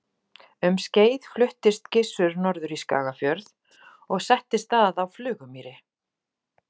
Um skeið fluttist Gissur norður í Skagafjörð og settist að á Flugumýri.